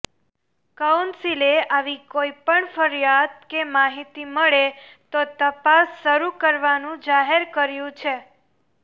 કાઉન્સિલે આવી કોઈપણ ફરિયાદ કે માહિતી મળે તો તપાસ શરૂ કરવાનું જાહેર કર્યું છે